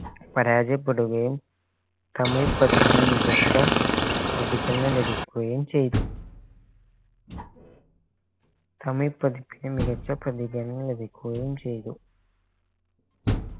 പരാജയപ്പെടുകയും തമിഴ് പതിപ്പിന് മികച്ച പ്രതികരണം ലഭിക്കുകയും ചെയ്തു തമിഴ് പതിപ്പിന് മികച്ച പ്രതികരണം ലഭിക്കുകയും ചെയ്തു